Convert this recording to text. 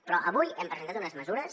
però avui hem presentat unes mesures